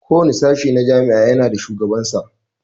Kowane sashe a jami'a ya na da shugaban sa